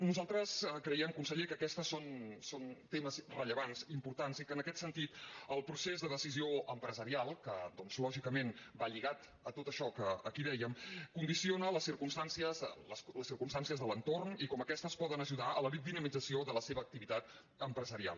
nosaltres creiem conseller que aquests són temes rellevants importants i que en aquest sentit el procés de decisió empresarial que lògicament va lligat a tot això que aquí dèiem condiciona les circumstàncies de l’entorn i com aquestes poden ajudar a la dinamització de la seva activitat empresarial